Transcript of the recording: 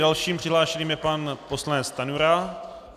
Dalším přihlášeným je pan poslanec Stanjura.